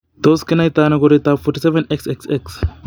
Tos kinaita ano koroitoab 47 XXX ?